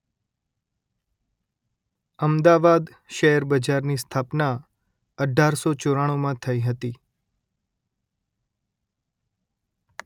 અમદાવાદ શેર બજારની સ્થાપના અઢારસો ચોરાણુંમાં થઇ હતી